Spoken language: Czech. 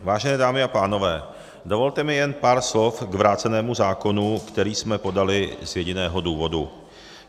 Vážené dámy a pánové, dovolte mi jen pár slov k vrácenému zákonu, který jsme podali z jediného důvodu.